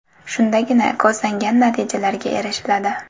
Shundagina ko‘zlangan natijalarga erishiladi.